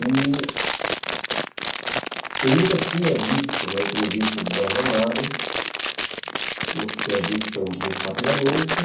E... eu nunca tinha visto uma entrevista de Jorge Amado, ou se tinha visto foi muito rapidamente.